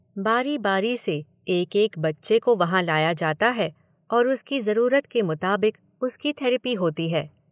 बारी बारी से एक एक बच्चे को वहाँ लाया जाता है और उसकी जरूरत के मुताबिक उसकी थेरेपी होती है।